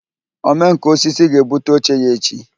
Omenkà osisi ga-ebute oche ya echi